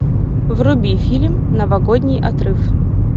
вруби фильм новогодний отрыв